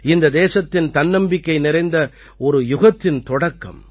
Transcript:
இது தேசத்தின் தன்னம்பிக்கை நிறைந்த ஒரு யுகத்தின் தொடக்கம்